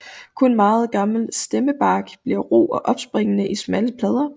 Kun meget gammel stammebark bliver ru og opsprækkende i smalle plader